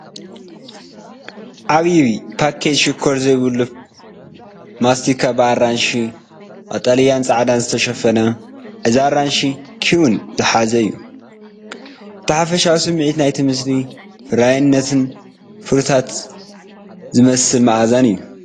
ዓብይ ፓኬት ሽኮር ዘይብሉ ማስቲካ ብኣራንሺ ቀጠልያን ጻዕዳን ዝተሸፈነ። እዚ ኣራንሺን ኪዊን ዝሓዘ እዩ። እቲ ሓፈሻዊ ስምዒት ናይቲ ምስሊ ፍሩይነትን ፍሩታት ዝመስል መኣዛን እዩ።